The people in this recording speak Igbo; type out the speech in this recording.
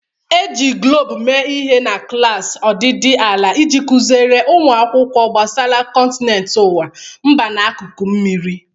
E ji Guloobu mee ihe na klaasị ọdịdị ala iji kuziere ụmụ akwụkwọ gbasara kọntinent ụwa, mba na akụkụ mmiri.